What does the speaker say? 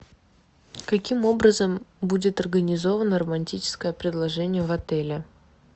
каким образом будет организовано романтическое предложение в отеле